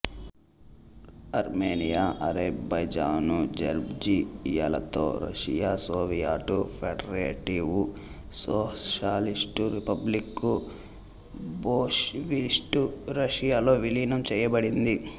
Armenia Azerbaijan జార్జియాలతో Russia Soviet federative socialist republic bolshevist రష్యాలో విలీనం చేయబడింది